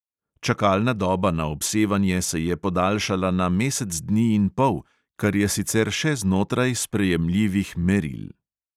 Čakalna doba na obsevanje se je podaljšala na mesec dni in pol, kar je sicer še znotraj sprejemljivih meril.